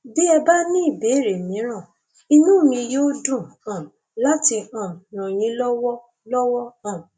bí ẹ bá ní ìbéèrè mìíràn inú mi yóò dùn um láti um ràn yín lọwọ lọwọ um